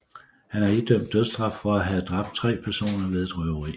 Han er idømt dødsstraf for at have dræbt tre personer ved et røveri